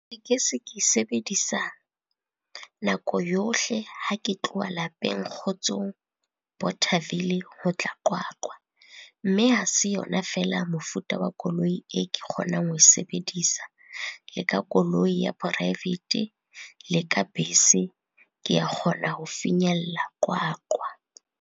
Tekesi ke e sebedisa nako yohle ha ke tloha lapeng Kgotsong, Bothaville ho tla Qwaqwa. Mme ha se yona feela mofuta wa koloi e ke kgonang ho e sebedisa, le ka koloi ya poraefete, le ka bese. Ke ya kgona ho finyella Qwaqwa.